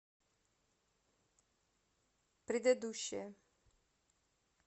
предыдущая